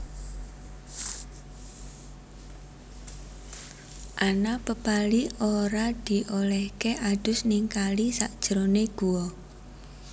Ana pepali ora diolèhké adus ning kali sakjerone guwa